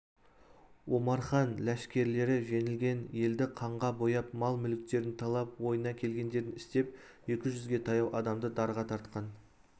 омархан ләшкерлері жеңілген елді қанға бояп мал-мүліктерін талап ойына келгендерін істеп екі жүзге таяу адамды дарға тартқан